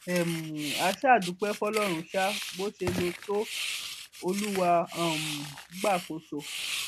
um a ṣáà dúpẹ fọlọrun sá bó ṣe lè tọ olúwa um gba àkóso